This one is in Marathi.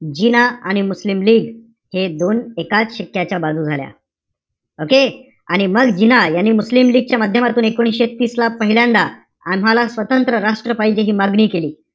जिना आणि मुस्लिम लीग एक दोन एकाच शिक्क्याच्या बाजू झाल्या. okay? आणि मग जिना यांनी मुस्लिम लीगच्या माधयमातून एकोणीशे तीस ला, पहिल्यांदा महाल स्वतंत्र राष्ट्र पाहिजे हि मागणी केली.